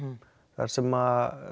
þar sem